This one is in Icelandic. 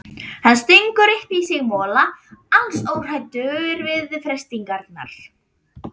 Hann stingur upp í sig mola, alls óhræddur við freistingarnar.